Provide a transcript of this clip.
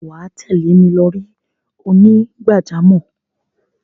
wà á tẹ̀lé mi lọri onígbàjámọ̀.